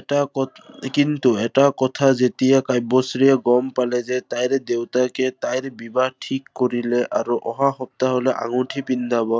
এটা কথা, কিন্তু এটা কথা, যেতিয়া কাব্যশ্ৰীয়ে গম পালে যে তাই দেউতাকে তাইৰ বিবাহ ঠিক কৰিলে আৰু অহা সপ্তাহলৈ আঙুঠি পিন্ধাৱ।